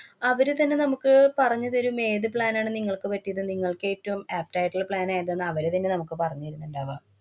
അവര് തന്നെ നമ്മക്ക് പറ‍ഞ്ഞുതരും ഏതു plan ആണ് നിങ്ങള്‍ക്ക് പറ്റിയതെന്ന്, നിങ്ങള്‍ക്ക് ഏറ്റവും apt ആയിട്ടുള്ള plan ഏതാന്നു അവര് തന്നെ നമുക്ക് പറഞ്ഞു തരുന്നുണ്ടാവ.